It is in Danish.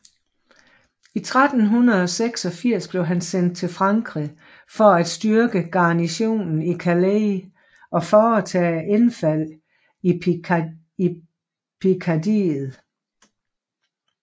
I april 1386 blev han sendt til Frankrig for at styrke garnisonen i Calais og foretage indfald i Pikardiet